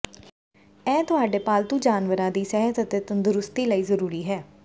ਇਹ ਤੁਹਾਡੇ ਪਾਲਤੂ ਜਾਨਵਰਾਂ ਦੀ ਸਿਹਤ ਅਤੇ ਤੰਦਰੁਸਤੀ ਲਈ ਜ਼ਰੂਰੀ ਹੈ